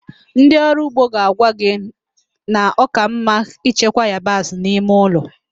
Ndị ọrụ ugbo ga-agwa gị na ọ ka mma ichekwa yabasị n'ime ụlọ